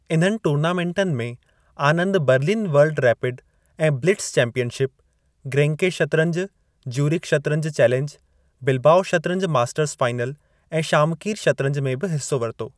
इन्हनि टूर्नामेंटनि में, आनंद बर्लिन वर्ल्ड रैपिड ऐं ब्लिट्ज चैंपियनशिप, ग्रेंके शतरंज, ज्यूरिख शतरंज चैलेंज, बिलबाओ शतरंज मास्टर्स फाइनल ऐं शामकीर शतरंज में बि हिसो वरितो।